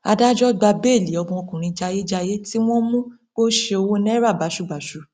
adájọ gba béèlì ọmọkùnrin jayéjayé tí wọn mú pé ó ṣe owó náírà báṣubàṣu